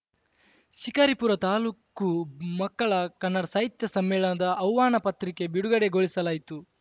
ಶಿಕಾರಿಪುರ ತಾಲೂಕು ಮಕ್ಕಳ ಕನ್ನಡ ಸಾಹಿತ್ಯ ಸಮ್ಮೇಳನದ ಆಹ್ವಾನ ಪತ್ರಿಕೆ ಬಿಡುಗಡೆಗೊಳಿಸಲಾಯಿತು